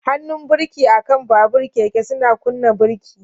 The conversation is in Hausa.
Hannun birki akan babur/keke suna kunna birki.